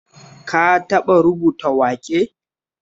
Ka taɓa rubuta waƙe?